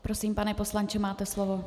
Prosím, pane poslanče, máte slovo.